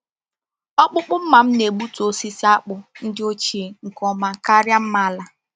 Ọkpụkpụ mma m na-egbutu osisi akpụ ndị ochie nke ọma karịa mma ala.